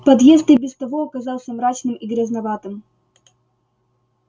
подъезд и без того оказался мрачным и грязноватым